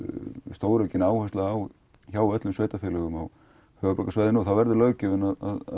stóraukin áhersla á hjá öllum sveitarfélögum á höfuðborgarsvæðinu og þá verður löggjöfin að